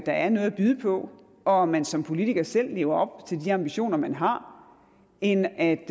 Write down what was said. der er noget at byde på og om man som politiker selv lever op til de ambitioner man har end at